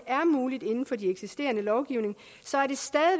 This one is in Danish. er muligt inden for den eksisterende lovgivning